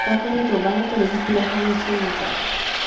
kakaretso ba latele ditiragalo sentle